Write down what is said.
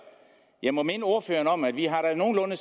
jeg må minde ordføreren om at vi har nogenlunde